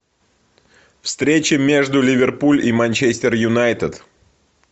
встреча между ливерпуль и манчестер юнайтед